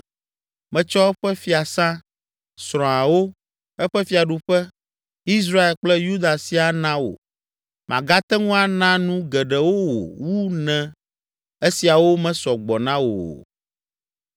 metsɔ eƒe fiasã, srɔ̃awo, eƒe fiaɖuƒe, Israel kple Yuda siaa na wò. Magate ŋu ana nu geɖewo wò wu ne esiawo mesɔ gbɔ na wò o.